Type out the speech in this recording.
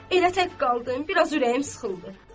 Elə tək qaldın, biraz ürəyim sıxıldı.